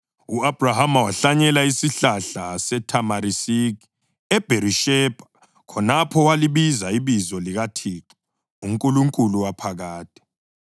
U-Abhrahama wahlanyela isihlahla sethamarisiki eBherishebha, khonapho walibiza ibizo likaThixo, uNkulunkulu Waphakade.